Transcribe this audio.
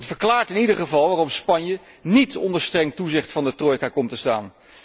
Het verklaart in ieder geval waarom Spanje niet onder streng toezicht van de trojka komt te staan.